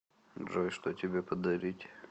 джой что тебе подарить